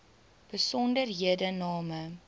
besonderhedename